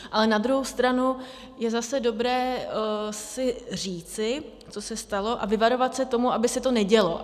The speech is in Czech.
Ale na druhou stranu je zase dobré si říci, co se stalo, a vyvarovat se toho, aby se to nedělo.